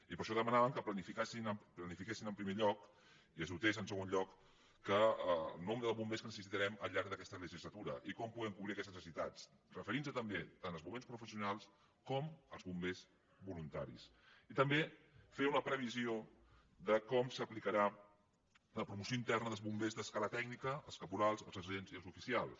i per això dema·nàvem que planifiquessin en primer lloc i es dotés en segon lloc el nombre de bombers que necessitarem al llarg d’aquesta legislatura i com poden cobrir aques·tes necessitats referint·nos també tant als bombers professionals com als bombers voluntaris i també fer una previsió de com s’aplicarà la promoció interna dels bombers d’escala tècnica els caporals els sergents i els oficials